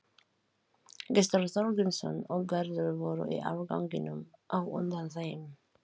Pakkarnir, sem hún hélt á, þeyttust í allar áttir.